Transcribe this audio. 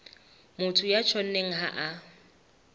motho ya tjhonneng ha a